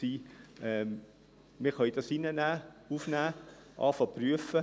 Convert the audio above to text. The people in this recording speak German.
Wir können das reinnehmen, aufnehmen, beginnen, es zu prüfen.